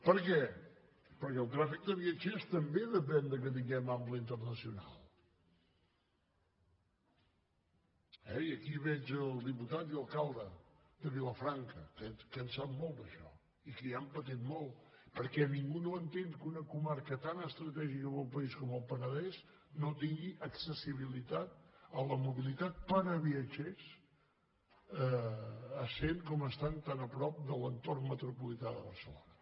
per què perquè el tràfic de viatgers també depèn que tinguem ample internacional eh i aquí veig el diputat i alcalde de vilafranca que en sap molt d’això i que hi han patit molt perquè ningú no entén que una comarca tan estratègica per al país com el penedès no tingui accessibilitat a la mobilitat per a viatgers essent com estan tan a prop de l’entorn metropolità de barcelona